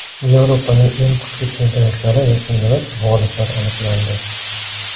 Yevropaning eng kuchli chempionatlari yakunlanib, g‘oliblar aniqlandi.